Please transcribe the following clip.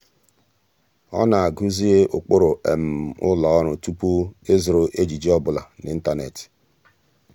ọ́ nà-ágụ́zị́ ụ́kpụ́rụ́ ụ́lọ́ ọ́rụ́ tupu ị́zụ́rụ ejiji ọ bụla n’ị́ntánétị̀.